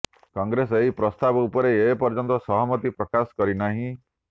କଂଗ୍ରେସ ଏହି ପ୍ରସ୍ତାବ ଉପରେ ଏ ପର୍ଯ୍ୟନ୍ତ ସହମତି ପ୍ରକାଶ କରିନାହିଁ